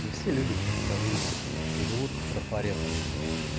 да все люди предсказуемые живут по трафаретам блин